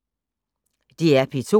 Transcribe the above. DR P2